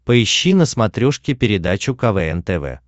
поищи на смотрешке передачу квн тв